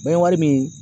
N bɛ wari min